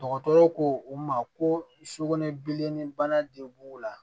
Dɔgɔtɔrɔw ko u ma ko sukunɛbilennin bana de b'u la